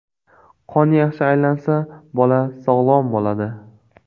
Qon yaxshi aylansa, bola sog‘lom bo‘ladi.